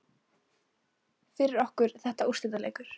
Fyrir okkur er þetta úrslitaleikur